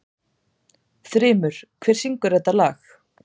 Þrymur, hver syngur þetta lag?